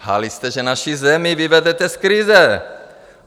Lhali jste, že naši zemi vyvedete z krize.